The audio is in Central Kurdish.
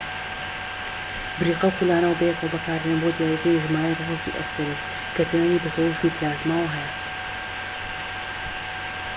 بریقە و خولانەوە بەیەکەوە بەکاردێن بۆ دیاریکردنی ژمارەی ڕۆسبی ئەستێرەیەک، کە پەیوەندی بە تەوژمی پلازماوە هەیە‎